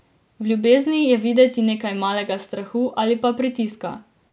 V ljubezni je videti nekaj malega strahu ali pa pritiska.